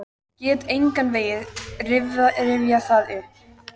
Get engan veginn rifjað það upp.